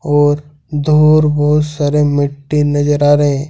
और दूर बहुत सारे मिट्टी नजर आ रहे--